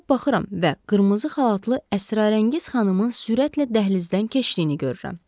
Çıxıb baxıram və qırmızı xalatlı əsrarəngiz xanımın sürətlə dəhlizdən keçdiyini görürəm.